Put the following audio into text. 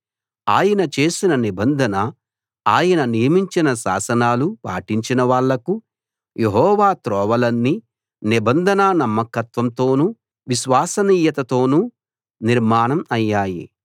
ఆయన చేసిన నిబంధన ఆయన నియమించిన శాసనాలు పాటించిన వాళ్లకు యెహోవా త్రోవలన్నీ నిబంధన నమ్మకత్వంతోనూ విశ్వసనీయతతోనూ నిర్మాణం అయ్యాయి